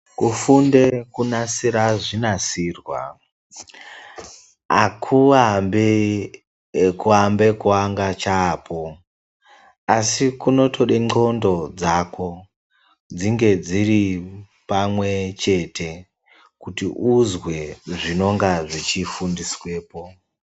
Kufunde kunasira zvinasirwa, akuambi ekuamba kuanga chaapo. Asi zvinotoda nxondo dzako, dzinge dziri pamwepo kuti uzwe zvinenge zveifundiswapo.